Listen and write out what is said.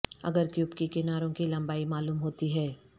اگر کیوب کی کناروں کی لمبائی معلوم ہوتی ہے